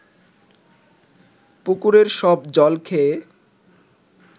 পুকুরের সব জল খেয়ে